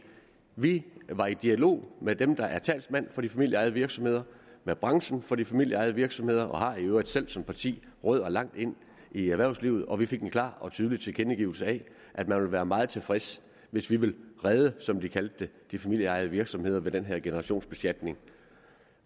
vi var i dialog med dem der var talsmænd for de familieejede virksomheder med branchen for de familieejede virksomheder og vi har i øvrigt selv som parti rødder langt ind i erhvervslivet og vi fik en klar og tydelig tilkendegivelse af at man ville være meget tilfreds hvis vi ville redde som de kaldte det de familieejede virksomheder ved den her generationsbeskatning